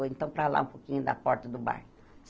Ou então, para lá um pouquinho da porta do bar.